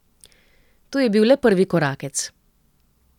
To je bil le prvi korakec.